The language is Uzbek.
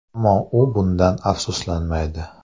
Ammo u bundan afsuslanmaydi.